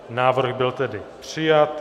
Návrh byl tedy přijat.